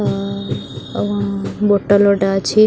Bottle ଗୋଟେ ଅଛି ।